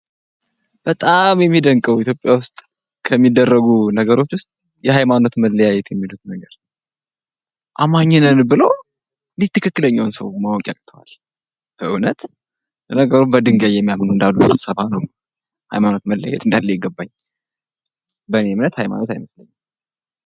በጣም የሚደንቀው ኢትዮጵያ ውስጥ ከሚደረጉ ነገሮች ውስጥ የሀይማኖት መለያየት የሚሉት ነገር አማኝ ነን ብሎ እንዴት ትክክለኛውን ሰው ማወቅ ያቅጠዋል እውነት ነገሩ በድንጋይ የሚያምኑ እንዳሉ ስንሰማ ነው ሀይማኖት መለያየት እንዳለ የገባኝ በኔ እምነት ሀይማኖት አይለያይም።